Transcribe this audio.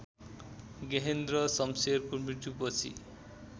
गेहेन्द्र शमशेरको मृत्युपछि